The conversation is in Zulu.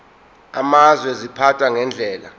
amazwe ziphathwa ngendlela